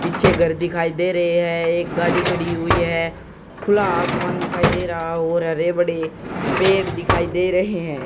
पीछे घर दिखाई दे रहे हैं एक गाड़ी खड़ी हुई है खुला आसमान दिखाई दे रहा हो रहा है और हरे भरे पेड़ दिखाई दे रहे हैं।